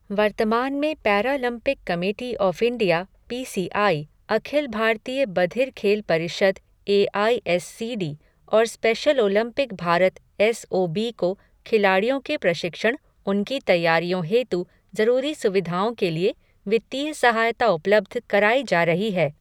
वर्तमान में Paralympic committee of India P C I, अखिल भारतीय बधिर खेल परिषद A I S C D और special Olympic Bharat S O B को खिलाड़ियों के प्रशिक्षण, उनकी तैयारियों हेतु जरूरी सुविधाओं के लिये वित्तीय सहायता उपलब्ध कराई जा रही है।